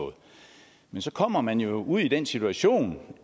nu så kommer man jo i den situation